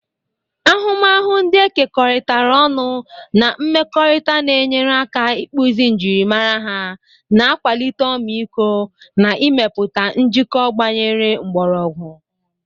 Ahụmahụ ndị e kekọrịtara ọnụ na mmekọrịta na-enyere aka ịkpụzi njirimara ha, na-akwalite ọmịiko, na ịmepụta njikọ gbanyere mkpọrọgwụ.